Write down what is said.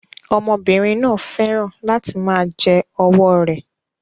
Ọmọbìnrin náà fẹ́ràn láti máa jẹ ọwọ́ rẹ̀